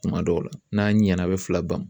Tuma dɔw la n'a ɲɛna a bɛ fila ban